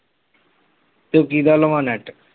ਤੇ ਕਿਹਦਾ ਲਵਾਂ net